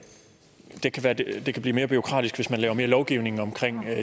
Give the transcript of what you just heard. det kan blive mere bureaukratisk hvis man laver mere lovgivning om